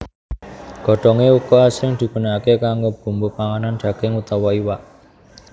Godhongé uga asring digunakaké kanggo bumbu panganan daging utawa iwak